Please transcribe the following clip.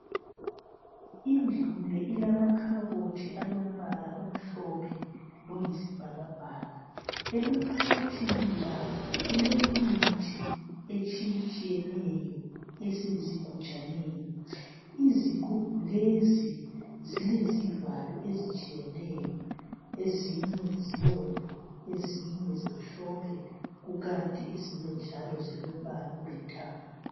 indlu le ilemakhabothi alombala omhlophe loyisibhakabhaka amakhabothini la kulemithi etshiyetshiyeneyo esezigujaneni izigubhu lezi zilezivalo ezitshiyeneyo ezinye zibomvu ezinye zimhlophe kukanti ezinye njalo zilombala olithanga